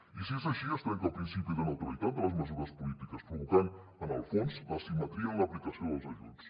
i si és així es trenca el principi de neutralitat de les mesures polítiques cosa que provoca en el fons l’asimetria en l’aplicació dels ajuts